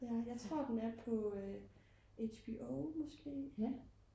jeg tror den er på HBO måske